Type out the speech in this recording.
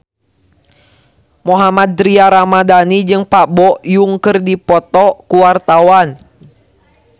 Mohammad Tria Ramadhani jeung Park Bo Yung keur dipoto ku wartawan